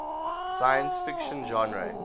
science fiction genre